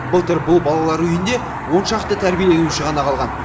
былтыр бұл балалар үйінде оншақты тәрбиеленуші ғана қалған